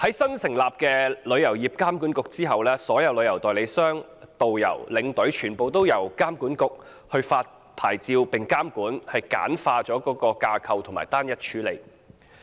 新成立旅監局之後，所有旅行代理商、導遊、領隊，全都由旅監局發出牌照並監管，簡化架構，單一處理。